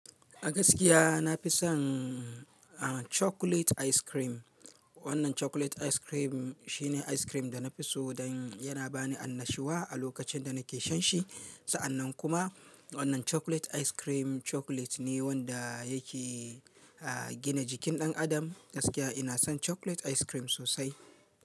A gaskiya na fi son chocolate ice cream. Wannan chocolate ice cream shine ice cream da na fi so don yana bani annashuwa a lokacin da nake shan shi. Sa'annan kuma wannan chocolate ice cream chocolate ne wanda yake gina jikin ɗan adam. Gaskiya ina son chocolate ice cream sosai.